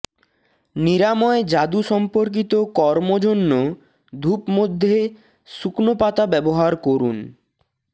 নিরাময় যাদু সম্পর্কিত কর্ম জন্য ধূপ মধ্যে শুকনো পাতা ব্যবহার করুন